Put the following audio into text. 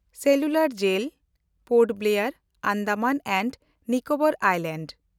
cellular jail (Port Blair, Andaman and Nicobar islands)